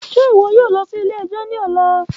Ṣe iwọ yoo lọ si ile-ẹjọ ni ọla?